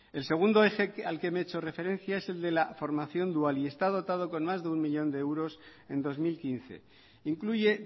el segundo eje al que me he hecho referencia y el de la formación dual y está dotado con más de uno millón de euros en dos mil quince incluye